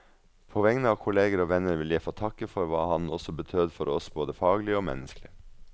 På vegne av kolleger og venner vil jeg få takke for hva han også betød for oss både faglig og menneskelig.